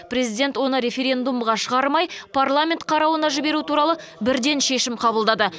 президент оны референдумға шығармай парламент қарауына жіберу туралы бірден шешім қабылдады